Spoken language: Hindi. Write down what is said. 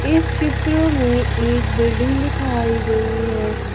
इस चित्र में एक बिल्डिंग दिखाई गई है।